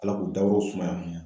Ala k'u dayɔrɔ sumaya